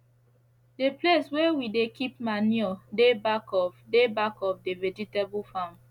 the place wey we dey keep manure dey back of dey back of the vegetable farm